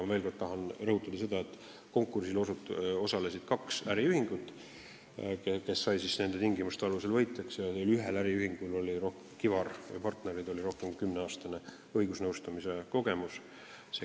Ma veel kord rõhutan, et konkursil osalenutest tulid võitjaks kaks äriühingut ja ühel äriühingul, Kivar & Partnerid, on rohkem kui kümneaastane õigusnõustamise kogemus.